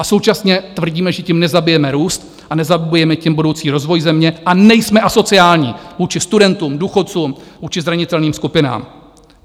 A současně tvrdíme, že tím nezabijeme růst a nezabijeme tím budoucí rozvoj země, a nejsme asociální vůči studentům, důchodcům, vůči zranitelným skupinám.